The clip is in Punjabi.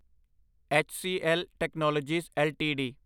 HCL technologies LTD